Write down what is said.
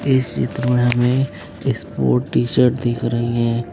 इस चित्र में हमे स्पोर्ट टी शर्ट दिख रही है।